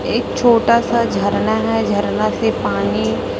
एक छोटा सा झरना है झरना से पानी--